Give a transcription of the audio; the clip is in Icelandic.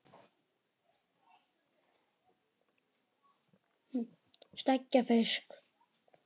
Steikja fisk?